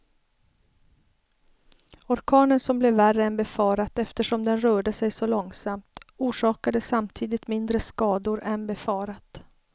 Orkanen som blev värre än befarat eftersom den rörde sig så långsamt, orsakade samtidigt mindre skador än befarat.